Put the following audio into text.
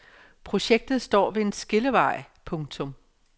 Projektet står ved en skillevej. punktum